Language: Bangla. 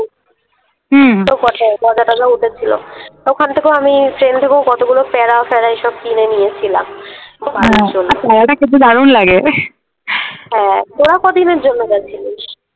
হুম গজা টজা উঠেছিল তো ওখান থেকেও আমি ট্রেন থেকেও আমি কতগুলো প্যারা ফ্যারা এই সব কিনে নিয়েছিলাম বাড়ির জন্য আর প্যারাটা খেতে দারুন লাগে হ্যাঁ তোরা কদিনের জন্যে গেছিলিস?